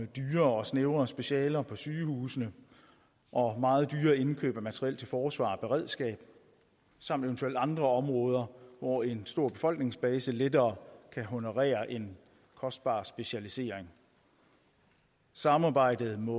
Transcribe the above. dyrere og snævrere specialer på sygehusene og meget dyre indkøb af materiel til forsvar og beredskab samt eventuelt andre områder hvor en stor befolkningsbase lettere kan honorere en kostbar specialisering samarbejdet må